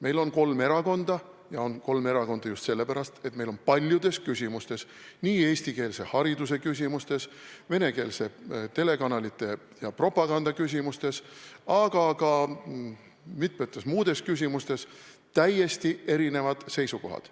Meil on kolm erakonda, ja on kolm erakonda just sellepärast, et meil on paljudes küsimustes, näiteks eestikeelse hariduse küsimustes, venekeelsete telekanalite ja propaganda küsimustes, aga ka mitmetes muudes küsimustes täiesti erinevad seisukohad.